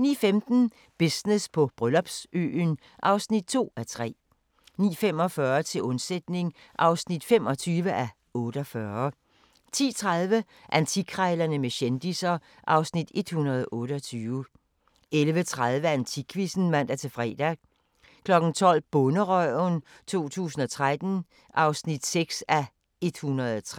09:15: Business på Bryllupsøen (2:3) 09:45: Til undsætning (25:48) 10:30: Antikkrejlerne med kendisser (Afs. 128) 11:30: AntikQuizzen (man-fre) 12:00: Bonderøven 2013 (6:103)